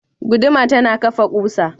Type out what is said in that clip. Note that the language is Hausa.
Guduma tana kafa ƙusa.